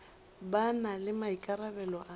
ba na le maikarabelo a